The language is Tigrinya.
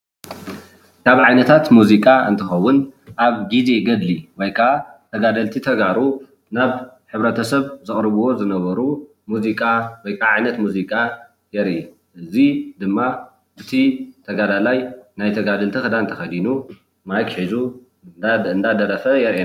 ካብ ዓይነታት ሙዚቃ እንትከዉን ኣብ ግዘ ገድሊ ወይ ከኣ ተጋደልቲ ተጋሩ ናብ ሕብረተሰብ ዘቅርብዎ ዝነበሩ ሙዚቃ ውይከዓ ዓይነት ሙዚቃ የርኢ እዚ ድማ እቲ ተጋዳላይ ናይ ተጋደልቲ ክዳን ተከዲኑ ማይክ ሒዙ እናደረፈ የርኢ።